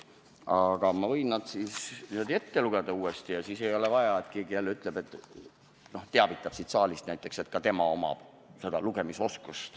Ma võin need uuesti ette lugeda, aga siis ei ole vaja, et keegi jälle teataks siin saalis, et ka tema omab lugemisoskust.